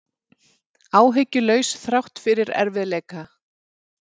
Áhyggjulaus þrátt fyrir erfiðleika